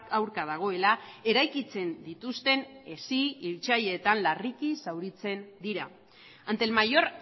aurka dagoela eraikitzen dituzten hesi hiltzaileetan larriki zauritzen dira ante el mayor